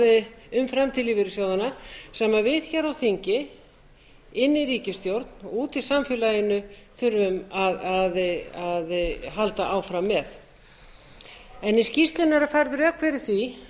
umræðu um framtíð lífeyrissjóðanna sem við hér á þingi inni í ríkisstjórn og úti í samfélaginu þurfum að halda áfram með í skýrslunni eru færð rök fyrir því